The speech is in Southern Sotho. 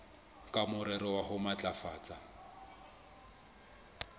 ka morero wa ho matlafatsa